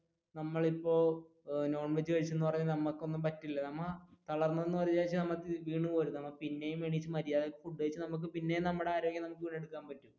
നമ്മൾ ഇപ്പൊ non veg കഴിച്ചെന്നു പറഞ്ഞു നമ്മക്ക് ഒന്നും പറ്റില്ല നമ്മ തളർന്ന വിചാരിച്ചു വീണു പോകരുത് നമ്മുക്ക് പിന്നെയും നമ്മുടെ ആരോഗ്യം വീണ്ടെടുക്കാൻ പറ്റും